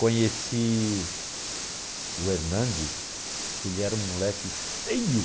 Conheci o Hernandes, que ele era um moleque feio.